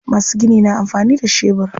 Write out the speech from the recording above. Masu gini na amfani da shebur.